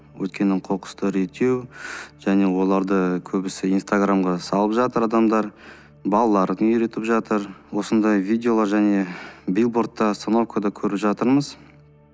өйткені қоқысты реттеу және оларды көбісі инстаграмға салып жатыр адамдар балаларын үйретіп жатыр осындай видеолар және билбордты остановкада көріп жатырмыз